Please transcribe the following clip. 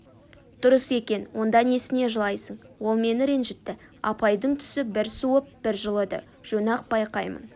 дұрыс екен онда несіне жылайсың ол мені ренжітті апайдың түсі бір суып бір жылыды жөн-ақ байқаймын